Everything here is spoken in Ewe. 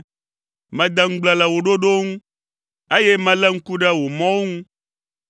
Mede ŋugble le wò ɖoɖowo ŋu, eye melé ŋku ɖe wò mɔwo ŋu.